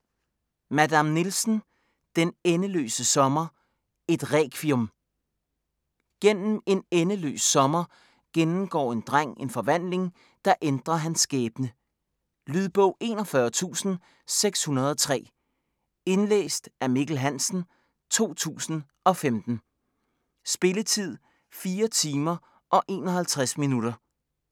Madame Nielsen: Den endeløse sommer: et requiem Gennem en endeløs sommer gennemgår en dreng en forvandling, der ændrer hans skæbne. Lydbog 41603 Indlæst af Mikkel Hansen, 2015. Spilletid: 4 timer, 51 minutter.